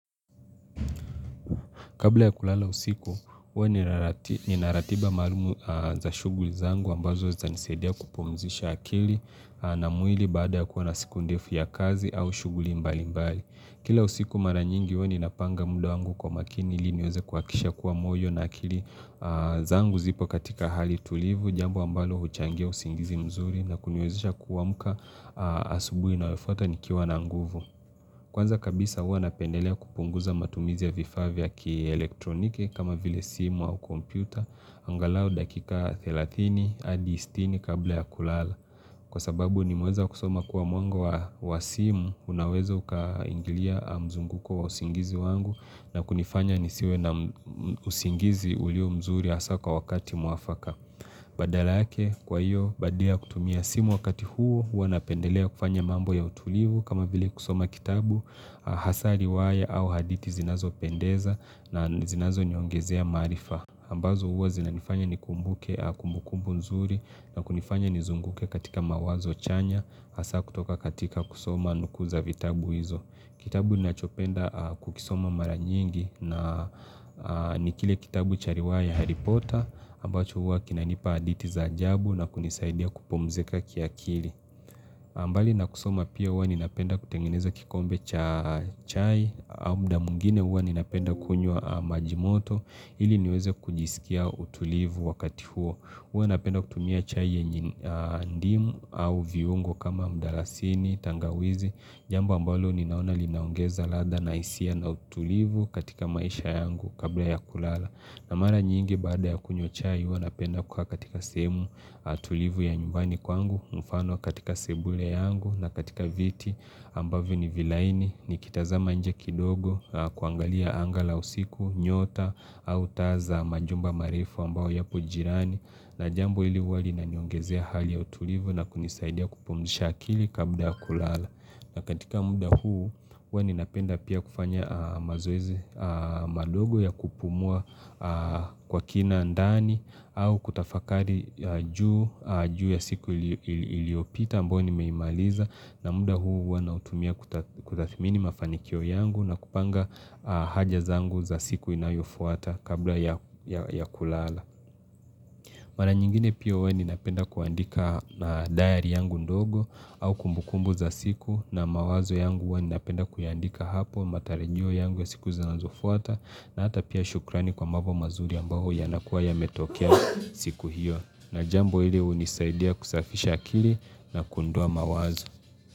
Kabla ya kulala usiku, huwa nina ratiba maalum za shughuli zangu ambazo zatanisaidia kupumzisha akili na mwili baada ya kuwa na siku ndefu ya kazi au shughuli mbali mbali. Kila usiku mara nyingi huwa ninapanga muda wangu kwa makini ili niweze kuhakisha kuwa moyo na akili zangu zipo katika hali tulivu, jambo ambalo huchangia usingizi mzuri na kuniwezesha kuamka asubuhi inayofuata nikiwa na nguvu. Kwanza kabisa huwa napendelea kupunguza matumizi ya vifaa vya kielektroniki kama vile simu au kompyuta, angalau dakika 30 hadi 60 kabla ya kulala. Kwa sababu nimeweza kusoma kuwa mwango wa simu, unaweza ukaingilia mzunguko wa usingizi wangu na kunifanya nisiwe na usingizi ulio mzuri hasa kwa wakati mwafaka. Badala yake kwa hiyo, badala ya kutumia simu wakati huo, hua napendelea kufanya mambo ya utulivu kama vile kusoma kitabu, hasa riwaya au hadithi zinazopendeza na zinazoniongezea maarifa. Ambazo huwa zinanifanya nikumbuke kumbukumbu nzuri na kunifanya nizunguke katika mawazo chanya, hasa kutoka katika kusoma nuku za vitabu hizo. Kitabu ninachopenda kukisoma mara nyingi na ni kile kitabu cha riwaya ya hari pota ambacho hua kinanipa hadithi za ajabu na kunisaidia kupumzika kiakili. Na mbali na kusoma pia huwa ninapenda kutengeneza kikombe cha chai au muda mwingine huwa ninapenda kunywa majimoto ili niweze kujisikia utulivu wakati huo. Huwa napenda kutumia chai yenye ndimu au viungo kama mdalasini, tangawizi, jambo ambalo ninaona linaongeza ladha na hisia na utulivu katika maisha yangu kabla ya kulala. Na mara nyingi baada ya kunywa chai huwa napenda kukaa katika sehemu tulivu ya nyumbani kwangu mfano katika sebule yangu na katika viti ambavyo ni vilaini nikitazama nje kidogo kuangalia anga la usiku, nyota au taa za majumba marefu ambayo yapo jirani. Na jambo ili huwa linaniongezea hali ya utulivu na kunisaidia kupumzisha akili kabla kulala. Na katika muda huu, hua ninapenda pia kufanya mazoezi madogo ya kupumua kwa kina ndani au kutafakari juu ya siku iliopita ambayo nimeimaliza na muda huu huwa nautumia kutathimini mafanikio yangu na kupanga haja zangu za siku inayofuata kabla ya kulala. Mara nyingine pia huwa ninapenda kuandika diary yangu ndogo au kumbukumbu za siku na mawazo yangu huwa ninapenda kuyaandika hapo matarajio yangu ya siku zinazofuata na hata pia shukrani kwa mambo mazuri ambayo yanakuwa yametokea siku hiyo. Na jambo hili unisaidia kusafisha akili na kuondoa mawazo.